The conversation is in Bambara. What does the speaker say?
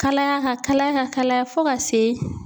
Kalaya ka kalaya ka kalaya fo ka se